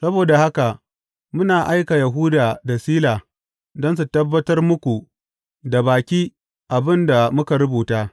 Saboda haka muna aika Yahuda da Sila don su tabbatar muku da baki abin da muka rubuta.